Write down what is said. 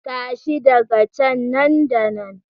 Tashi daga can nan da nan!